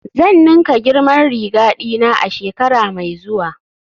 Zan ninka girman riga dina a shekara mai zuwa